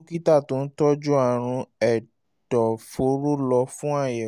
wá dókítà tó ń tọ́jú àrùn ẹ̀dọ̀fóró lọ fún àyẹ̀wò